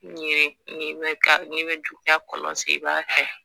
Ne ye kɔlɔsi ba kɛ